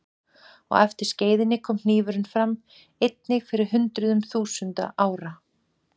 Á eftir skeiðinni kom hnífurinn fram, einnig fyrir hundruðum þúsunda ára.